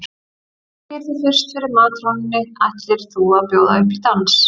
Þú hneigir þig fyrst fyrir matrónunni ætlir þú að bjóða upp í dans.